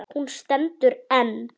Hún stendur enn.